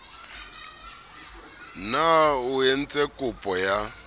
na o entse kopo ya